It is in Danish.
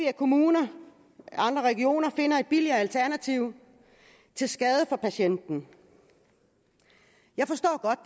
at kommuner andre regioner finder et billigere alternativ til skade for patienten jeg forstår godt